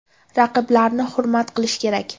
Raqiblarni hurmat qilish kerak.